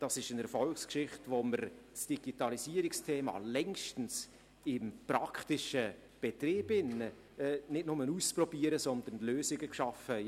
Das ist eine Erfolgsgeschichte, bei der wir das Digitalisierungsthema längst im praktischen Betrieb nicht nur ausprobieren, sondern Lösungen geschaffen haben.